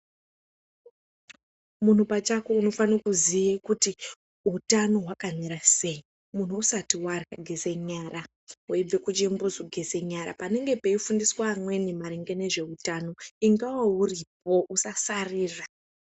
Munti pachako unofane kuziya kuti utano hwakamira sei, muntu usati warya geze nyara weibve kuchimbuzi geze nyara panenge peifundiswa amweni maringe ngezveutano ingawo uripo usasarira.